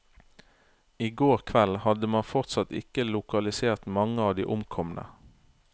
I går kveld hadde man fortsatt ikke lokalisert mange av de omkomne.